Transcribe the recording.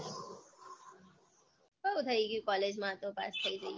બૌ થઇ ગયું college માં તો પાસ થઇ જઈએ